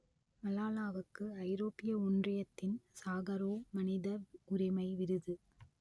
மலாலாவுக்கு ஐரோப்பிய ஒன்றியத்தின் சாகரோவ் மனித உரிமை விருது